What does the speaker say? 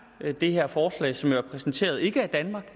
det her forslag som jo er præsenteret ikke af danmark